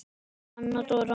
Anna Dóra.